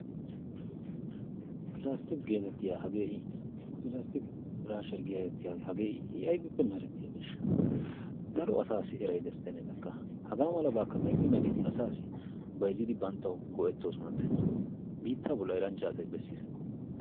Pilastiki geetettiyaa piraashshiyaa pilastiki piraashshiyaa getettiyaagee hagee i aybippe merettiyaabesha. daro assaassi eray destennee lekka hagaamalabakka medhdhi medhdhidi asaassi bayzzidi banttawu go"ettoosonatennee. biittaa bolli eranchcha asay bessiis.